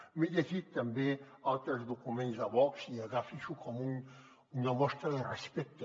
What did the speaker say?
m’he llegit també altres documents de vox i agafi s’ho com una mostra de respecte